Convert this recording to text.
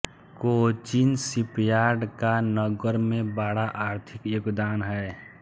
Cochin shipyard का नगर में बड़ा आर्थिक योगदान है